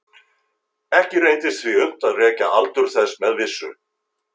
Ekki reyndist því unnt að rekja aldur þess með vissu.